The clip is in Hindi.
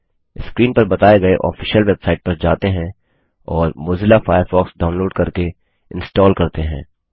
000332 000310 स्क्रीन पर बताए गए ऑफिशियल वेबसाइट पर जाते हैं और मोज़िला फ़ायरफ़ॉक्स डाउनलोड करके इंस्टाल करते हैं